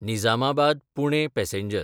निजामाबाद–पुणे passenger